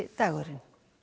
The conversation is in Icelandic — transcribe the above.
dagurinn